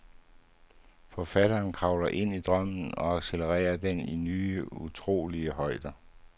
Forfatteren kravler ind i drømmen og accelererer den til nye, utrolige højder.